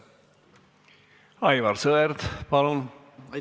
Aivar Sõerd, palun!